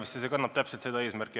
See eelnõu kannab täpselt seda eesmärki.